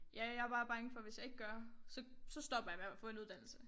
Ja jeg bare bange for hvis jeg ikke gør så så stopper jeg med at få en uddannelse